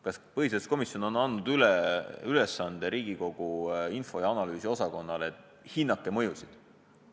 Kas põhiseaduskomisjon on andnud Riigikogu õigus- ja analüüsiosakonnale ülesande, et hinnake mõjusid?